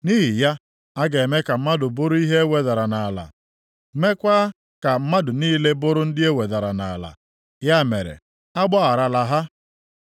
Nʼihi ya, a ga-eme ka mmadụ bụrụ ihe e wedara nʼala, meekwa ka mmadụ niile bụrụ ndị e wedara nʼala. Ya mere, agbagharala ha.